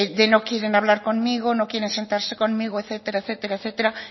de no quieren hablar conmigo no quieren sentarse conmigo etcétera etcétera etcétera